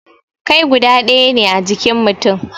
Kai guda daya ne a jikin mutum